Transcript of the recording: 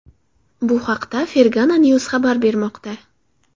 Bu haqda Fergana news xabar bermoqda .